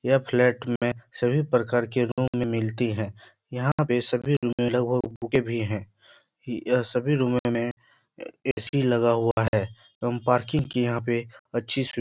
यह फ्लैट में सभी प्रकार की रूम मिलती है। यहां पर पर सभी रूम में लोग रुके भी है यह सभी रूम में ए ए.सी. लगा हुआ है। हम पर्किंग की यहाँ पे अच्छी सु--